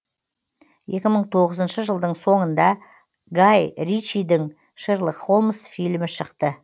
екі мың тоғызыншы жылдың соңында гай ричидің шерлок холмс фильмі шықты